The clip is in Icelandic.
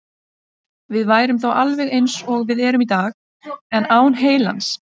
Við værum þá alveg eins og við erum í dag, en án heilans.